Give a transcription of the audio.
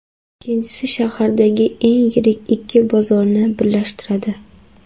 Ikkinchisi shahardagi eng yirik ikki bozorni birlashtiradi.